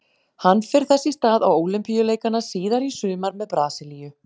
Hann fer þess í stað á Ólympíuleikana síðar í sumar með Brasilíu.